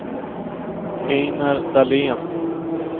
Einar Dahlén